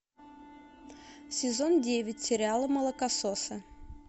сезон девять сериала молокососы